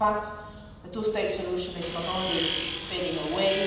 In fact, the two state solution is not only fading away